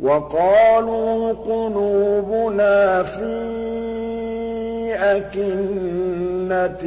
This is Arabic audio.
وَقَالُوا قُلُوبُنَا فِي أَكِنَّةٍ